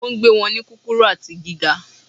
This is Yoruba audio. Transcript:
Ó ń gbé wọn ní kúkúrú àti gíga